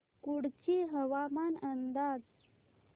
कुडची हवामान अंदाज